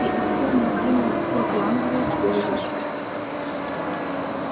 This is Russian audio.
и исполнив гимн скоты англии все разошлись